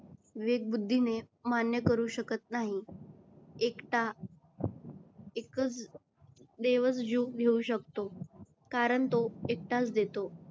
वेद बुद्धीने ने मान्य करू शकत नाही. एकटा एकच देवच जीव घेऊ शकतो. कारण तो एकटाच देतो.